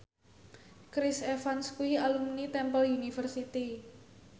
Chris Evans kuwi alumni Temple University